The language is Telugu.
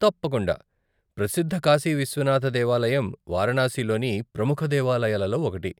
తప్పకుండా, ప్రసిద్ధ కాశీ విశ్వనాథ దేవాలయం వారణాసిలోని ప్రముఖ దేవాలయాలలో ఒకటి.